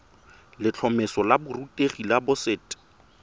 letlhomeso la borutegi la boset